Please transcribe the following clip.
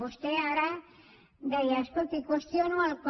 vostè ara deia escolti qüestiono el com